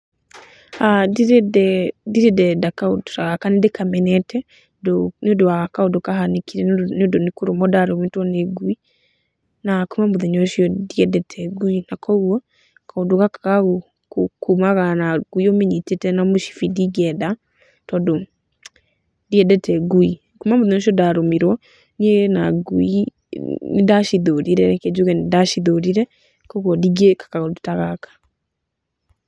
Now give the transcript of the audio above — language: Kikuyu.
Ndirĩ ndenda kaũndũ ta gaka nĩ ndĩkamenete, nĩ ũndũ wa kaũndũ kahanĩkire nĩ ũndũ nĩ kũrũmwo ndarũmĩtwo nĩ ngui, na kuma muthenya ũcio ndiendete ngui, na kuũguo kaũndũ gaka ga kumagara na ngui ũmĩnyitĩte na mũcibi ndingĩenda, tondũ ndiendete ngui, kuma mũthenya ũcio ndarũmirwo niĩ na ngui nĩ ndacithũrire, reke njuge nĩ ndacithũrire kuũguo ndingĩĩka kaũndũ ta gaka.